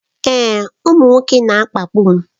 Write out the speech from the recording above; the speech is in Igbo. Èè, ụmụ nwoke na-akpagbu m